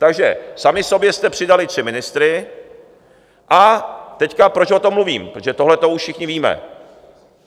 Takže sami sobě jste přidali tři ministry, a teď, proč o tom mluvím: Protože tohle to už všichni víme.